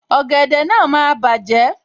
Ògèdè náà máa bàjẹ́